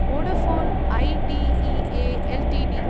Vodafone IDEA Ltd